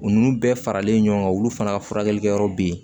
U ninnu bɛɛ faralen ɲɔgɔn kan olu fana ka furakɛlikɛ yɔrɔ be yen